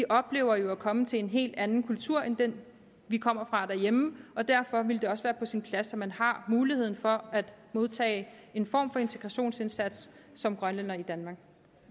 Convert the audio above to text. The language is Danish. oplever at komme til en helt anden kultur end den vi kommer fra derhjemme derfor ville det også være på sin plads at man har muligheden for at modtage en form for integrationsindsats som grønlænder i danmark